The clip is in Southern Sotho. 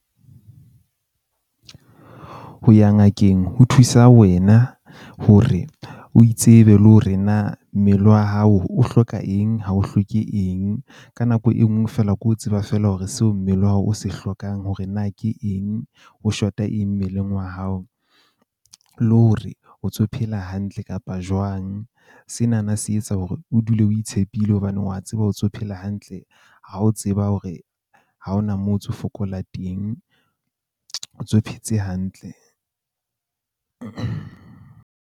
Ho ya ngakeng ho thusa wena hore o itsebe, le hore na mmele wa hao o hloka eng ha o hloke eng. Ka nako e nngwe feela, ke o tseba feela hore seo mmele wa hao o se hlokang hore na ke eng o shota eng mmeleng wa hao. Le hore o ntso o phela hantle kapa jwang. Sena na se etsa hore o dule o itshepile hobane wa tseba o ntso o phela hantle, ha o tseba hore ha hona moo o ntso fokola teng, o ntso phetse hantle.